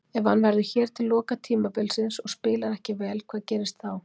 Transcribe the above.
Ef hann verður hér til loka tímabilsins og spilar ekki vel, hvað gerist þá?